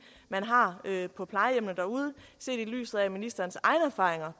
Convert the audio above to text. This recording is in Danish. man har på plejehjemmene derude set i lyset af ministerens egne erfaringer